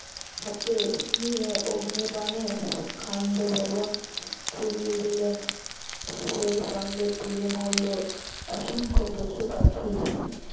হাতে নিয়ে অগ্নিবাণে খান্ডব বন পুড়িয়ে দিলেন সেই সঙ্গে পুরে মরল অসংখ্য পশুপাখি